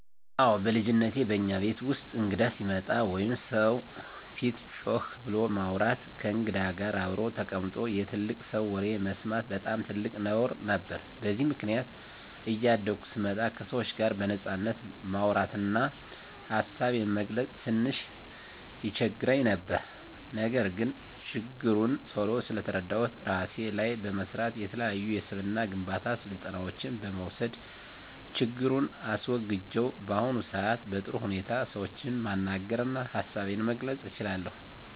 አወ በልጅነቴ በእኛ ቤት ውስጥ እንግዳ ሲመጣ ወይም ሰው ፊት ጮክ ብሎ ማውራት፣ ከእንግዳ ጋር አብሮ ተቀምጦ የትልቅ ሰው ወሬ መስማት በጣም ትልቅ ነውር ነበር። በዚህም ምክንያት እያደኩ ስመጣ ከሰዎች ጋር በነጻነት ማውራት እና ሀሳቤን መግለፅ ትንሽ ይቸግረኝ ነበር። ነገር ግን ችግሩን ቶሎ ስለተረዳሁት እራሴ ላይ በመስራት፣ የተለያዩ የስብዕና ግንባታ ስልጠናዎችን በመውሰድ ችግሩን አስወግጀው በአሁኑ ሰአት በጥሩ ሁኔታ ሰዎችን ማናገር እና ሀሳቤን መግለፅ እችላለሁ።